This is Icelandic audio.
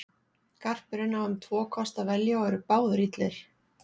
Garpurinn á um tvo kosti að velja og eru báðir illir.